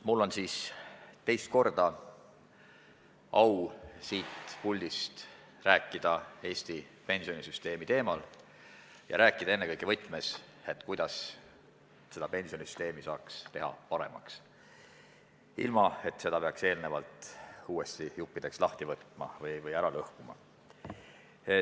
Mul on teist korda au siit puldist rääkida Eesti pensionisüsteemi teemal ja rääkida ennekõike selles võtmes, kuidas saaks pensionisüsteemi paremaks teha, ilma et seda peaks eelnevalt uuesti juppideks lahti võtma või ära lõhkuma.